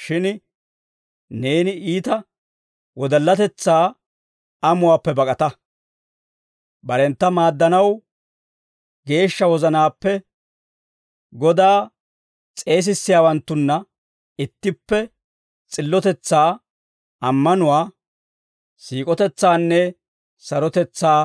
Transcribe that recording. Shin neeni iita wodallatetsaa amuwaappe bak'ata. Barentta maaddanaw geeshsha wozanaappe Godaa s'eesisiyaawanttunna ittippe, s'illotetsaa, ammanuwaa, siik'otetsaanne sarotetsaa